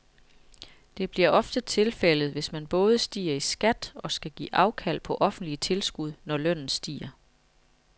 Det bliver ofte tilfældet, hvis man både stiger i skat og skal give afkald på offentlige tilskud, når lønnen stiger.